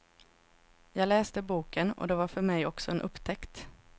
Jag läste boken, och det var för mig också en upptäckt.